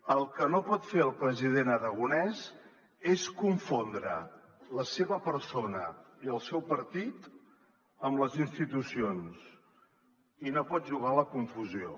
el que no pot fer el president aragonès és confondre la seva persona i el seu partit amb les institucions i no pot jugar a la confusió